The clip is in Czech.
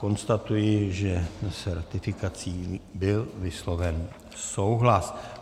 Konstatuji, že s ratifikací byl vysloven souhlas.